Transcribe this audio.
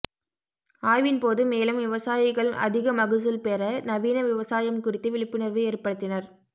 ஆய்வின்போது மேலும் விவசாயிகள் அதிக மகசூல்பெற நவீன விவசாயம் குறித்து விழிப்புணா்வு ஏற்படுத்தினா்